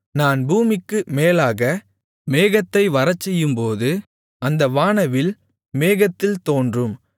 நான் பூமிக்கு மேலாக மேகத்தை வரச்செய்யும்போது அந்த வானவில் மேகத்தில் தோன்றும்